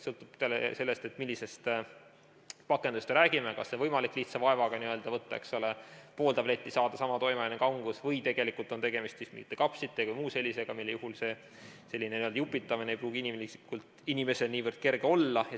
Sõltub sellest, millisest pakendist me räägime, kas on võimalik lihtsa vaevaga võtta pool tabletti ja saada sama toimeaine kangus või on tegemist mingite kapslite või muu sellisega, mille puhul selline n-ö jupitamine ei pruugi inimesel niivõrd kerge olla.